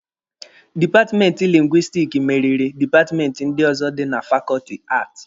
Dipatmenti lingwistiki meriri dipatmenti ndị ọzọ dị na fakọọtị Aati.